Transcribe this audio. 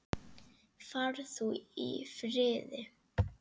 Far þú í friði.